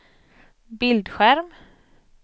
bildskärm